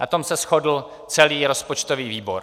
Na tom se shodl celý rozpočtový výbor.